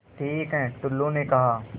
ठीक है टुल्लु ने कहा